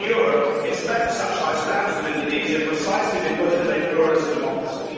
We in Europe expect such high standards of Indonesia precisely because it is a pluralist democracy.